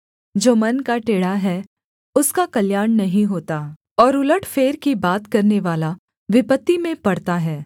जो मन का टेढ़ा है उसका कल्याण नहीं होता और उलटफेर की बात करनेवाला विपत्ति में पड़ता है